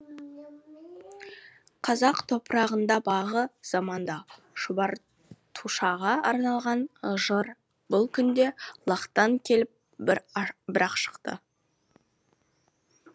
қазақ топырағында бағы заманда шұбар тушаға арналған жыр бұл күнде лақтан келіп бір ақ шықты